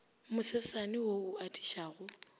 mo sesane wo o atišago